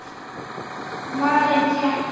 Malen: Kettir.